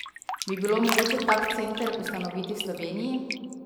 Bi bilo mogoče tak center ustanoviti v Sloveniji?